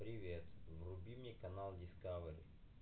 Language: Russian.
привет вруби мне канал дискавери